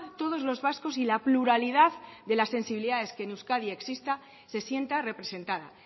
todos los vascos y la pluralidad de las sensibilidades que en euskadi existan se sienta representada